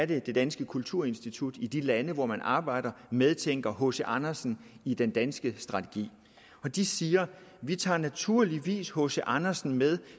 det danske kulturinstitut i de lande hvor man arbejder medtænker hc andersen i den danske strategi de siger vi tager naturligvis hc andersen med